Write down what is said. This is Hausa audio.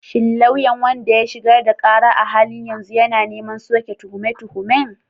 Shin lauyan wanda ya shigar da ƙara a halin yanzu yana neman soke tuhume-tuhumen?